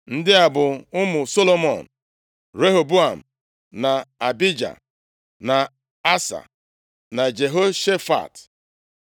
Ndị a bụ ụmụ Solomọn: Rehoboam, na Abija, na Asa, na Jehoshafat,